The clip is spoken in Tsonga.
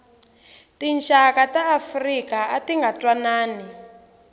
tinxaka ta afrika atinga ntwanani